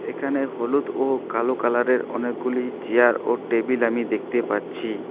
এখানে হলুদ ও কালো কালারের অনেকগুলি চেয়ার ও টেবিল আমি দেখতে পাচ্ছি।